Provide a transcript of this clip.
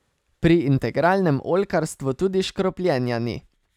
Pri integralnem oljkarstvu tudi škropljenja ni.